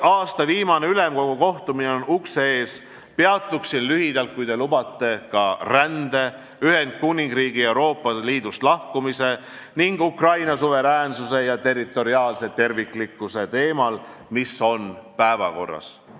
Kuna aasta viimane Ülemkogu kohtumine on ukse ees, peatun lühidalt, kui lubate, ka rände, Ühendkuningriigi Euroopa Liidust lahkumise ning Ukraina suveräänsuse ja territoriaalse terviklikkuse teemal, mis on päevakorral.